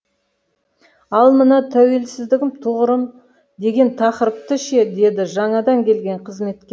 ал мына тәуелсіздігім тұғырым деген тақырыпты ше деді жаңадан келген қызметкер